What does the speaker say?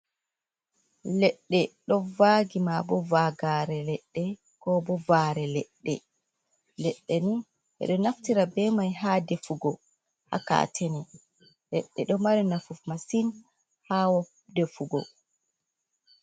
Leɗɗe ɗo vaagi, ma bo vagare leɗɗe, ko bo vare leɗɗe leɗɗ ni, beɗo naftira be mai ha ɗefugo habkatene. Leɗɗe ɗo mari nafu masin hawo ɗefugo.